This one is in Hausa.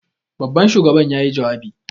Babban shugaban yayi jawabi.